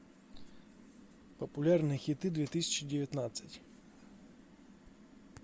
популярные хиты две тысячи девятнадцать